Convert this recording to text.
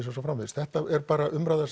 og svo framvegis þetta er bara umræða